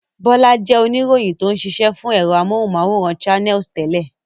Bọ́lá jẹ́ oníròyìn tó ń ṣiṣẹ́ fún ẹ̀rọ amóhùmáwòhán Channels tẹ́lẹ̀.